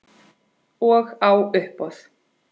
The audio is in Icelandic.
Og á uppboð.